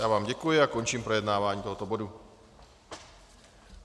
Já vám děkuji a končím projednávání tohoto bodu.